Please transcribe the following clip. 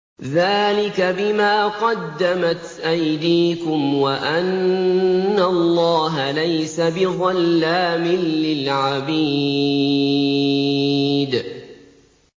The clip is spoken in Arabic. ذَٰلِكَ بِمَا قَدَّمَتْ أَيْدِيكُمْ وَأَنَّ اللَّهَ لَيْسَ بِظَلَّامٍ لِّلْعَبِيدِ